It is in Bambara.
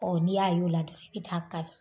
n'i y'a y'o la dɔrɔn i bɛ taa a kari